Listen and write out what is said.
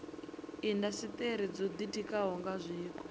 indasiteri dzo ditikaho nga zwiko